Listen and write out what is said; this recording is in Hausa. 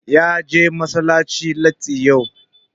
Ya je masallaci latti yau.